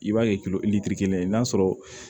I b'a kɛ kelen ye n'a sɔrɔ